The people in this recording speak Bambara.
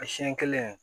A siɲɛ kelen